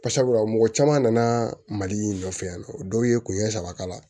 Barisabula mɔgɔ caman nana mali in nɔfɛ yan nɔ dɔw ye kun ɲɛ saba k'a la